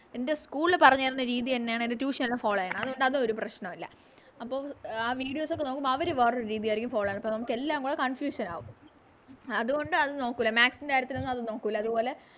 എൻറെ School ല് പറഞ്ഞ് തരണ രീതി തന്നെയാണ് എൻറെ Tution ലും Follow ചെയ്യണേ അതുകൊണ്ട് അതൊരു പ്രശ്‌നവല്ല അപ്പൊ ആ Videos ഒക്കെ നോക്കുമ്പോ അവര് വേറൊരു രീതിയാരിക്കും Follow ചെയ്യുന്നേ അപ്പൊ നമുക്ക് എല്ലാം കൂടെ Confusion ആകും അതുകൊണ്ട് അത് നോക്കൂല Maths ൻറെ കാര്യത്തിലൊന്നും അത് നോക്കുല അതുപോലെ